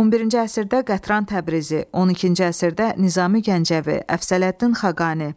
11-ci əsrdə Qətran Təbrizi, 12-ci əsrdə Nizami Gəncəvi, Əfsələddin Xaqani,